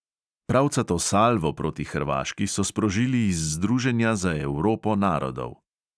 Pravcato salvo proti hrvaški so sprožili iz združenja za evropo narodov.